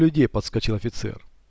людей подскочил офицер